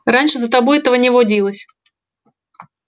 раньше за тобой этого не водилось